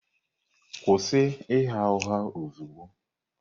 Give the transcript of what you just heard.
Kwụsị ịgha ụgha ozugbo!